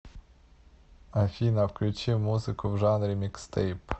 афина включи музыку в жанре микстейп